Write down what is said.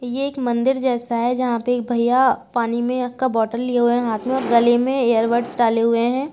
ये एक मंदिर जैसा है। जहाँ पे एक भैया पानी में का बोतल लिए हुए है हाथ में गले में ईयर बड्स डाले हुए हैं।